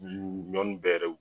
ɲɔn nun bɛɛ